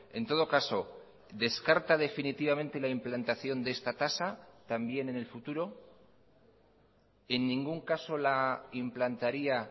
en todo caso descarta definitivamente la implantación de esta tasa también en el futuro en ningún caso la implantaría